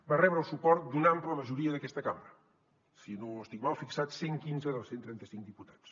va rebre el suport d’una ampla majoria d’aquesta cambra si no estic mal fixat cent i quinze dels cent i trenta cinc diputats